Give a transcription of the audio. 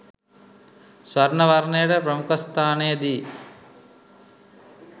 ස්වර්ණ වර්ණයට ප්‍රමුඛස්ථානය දී